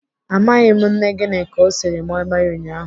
Amaghị m nne Gịnịka ọ siri moi moi ụnyaahụ.